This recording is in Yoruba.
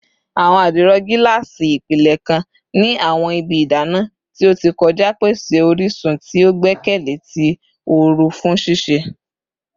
Awọn adiro gaasi, ipilẹ kan ni awọn ibi idana ti o ti kọja, pese orisun ti o gbẹkẹle ti ooru fun sise